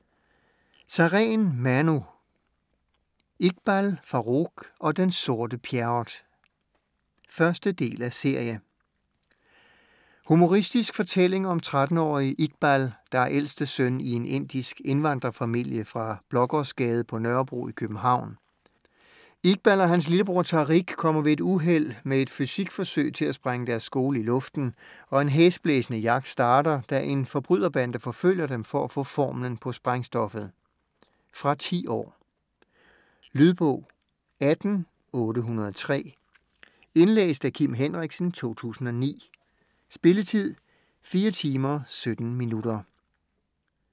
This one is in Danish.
Sareen, Manu: Iqbal Farooq og den sorte Pjerrot 1. del af serie. Humoristisk fortælling om 13-årige Iqbal, der er ældste søn i en indisk indvandrerfamilie fra Blågårdsgade på Nørrebro i København. Iqbal og hans lillebror Tariq kommer ved et uheld med et fysikforsøg til at sprænge deres skole i luften, og en hæsblæsende jagt starter, da en forbryderbande forfølger dem for at få formlen på sprængstoffet! Fra 10 år. Lydbog 18803 Indlæst af Kim Henriksen, 2009. Spilletid: 4 timer, 17 minutter.